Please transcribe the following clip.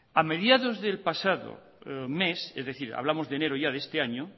a mediados del pasado mes es decir hablamos de enero ya de este año